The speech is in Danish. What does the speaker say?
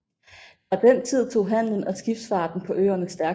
Fra den tid tog handelen og skibsfarten på øerne stærkt til